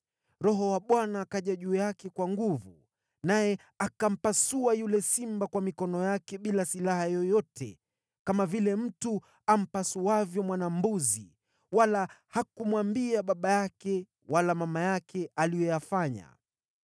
Roho wa Bwana akaja juu yake kwa nguvu, naye akampasua yule simba kwa mikono yake bila silaha yoyote kama vile mtu ampasuavyo mwana-mbuzi, wala hakumwambia baba yake wala mama yake aliyoyafanya.